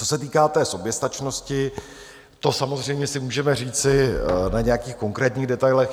Co se týká té soběstačnosti, to samozřejmě si můžeme říci na nějakých konkrétních detailech.